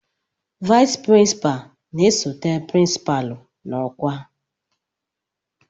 Vice Principal na-esote pirinsipalu n'ọkwa